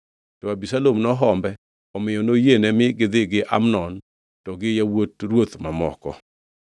To Abisalom nohombe, omiyo noyiene mi gidhi gi Amnon to gi yawuot ruoth mamoko.